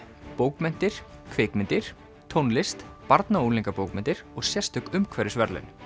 bókmenntir kvikmyndir tónlist barna og unglingabókmenntir og sérstök umhverfisverðlaun